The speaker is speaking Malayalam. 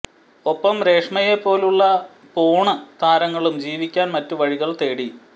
ഒപ്പം രേഷ്മയെ പോലുള്ള പോണ് താരങ്ങളും ജീവിക്കാന് മറ്റ് വഴികള് തേടി